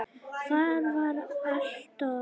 Hvar var Adolf?